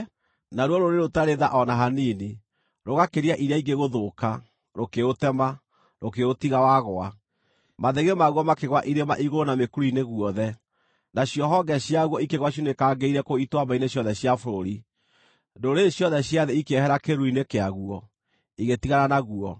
naruo rũrĩrĩ rũtarĩ tha o na hanini, rũgakĩria iria ingĩ gũthũka, rũkĩũtema, rũkĩũtiga wagũa. Mathĩgĩ maguo makĩgũa irĩma-igũrũ na mĩkuru-inĩ guothe; nacio honge ciaguo ikĩgũa ciunĩkangĩire kũu ituamba-inĩ ciothe cia bũrũri. Ndũrĩrĩ ciothe cia thĩ ikĩehera kĩĩruru-inĩ kĩaguo, igĩtigana naguo.